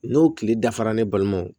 N'o tile dafara ne balimaw